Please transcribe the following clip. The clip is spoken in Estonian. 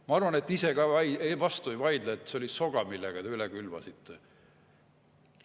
Ma arvan, et te ise ka vastu ei vaidle, et see oli soga, millega te üle külvasite.